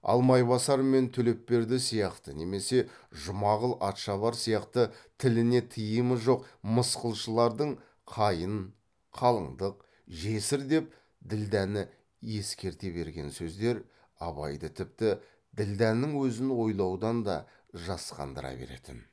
ал майбасар мен төлепберді сияқты немесе жұмағұл атшабар сияқты тіліне тыйымы жоқ мысқылшылардың қайын қалыңдық жесір деп ділдәні ескерте берген сөздер абайды тіпті ділдәнің өзін ойлаудан да жасқандыра беретін